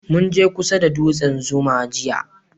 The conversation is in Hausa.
Mun je kusa da dutsen zuma jiya